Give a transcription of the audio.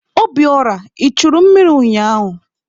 Obiora, I churu mmiri ụnyaahụ?